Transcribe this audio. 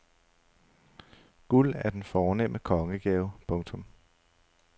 Guld er den fornemme kongegave. punktum